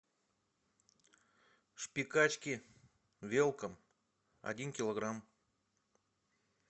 шпикачки велком один килограмм